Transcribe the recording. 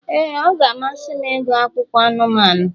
ee, ọ na-amasị m ịgụ akụkọ anụmanụ.